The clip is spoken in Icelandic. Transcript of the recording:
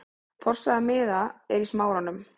Forsala miða er í Smáranum.